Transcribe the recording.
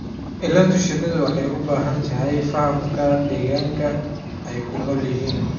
Ilaalinta shinnidu waxay u baahan tahay fahamka deegaanka ay ku nool yihiin.